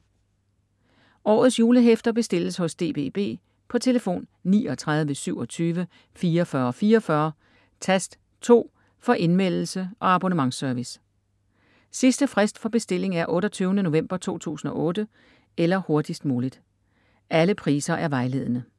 Årets julehæfter bestilles hos DBB på telefon 39 27 44 44 tast 2 for indmeldelse- og abonnementsservice. Sidste frist for bestilling er 28. november 2008 eller hurtigst muligt. Alle priser er vejledende.